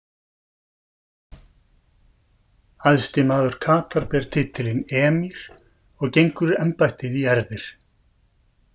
Æðsti maður Katar ber titilinn emír og gengur embættið í erfðir.